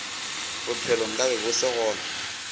bophelo nkabe bo se gona